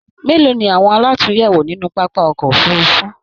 Mélòó ni awọn àlatúnyẹwò nínú pápá ọkọ òfurùnfu?